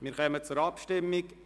Wir kommen zur Abstimmung.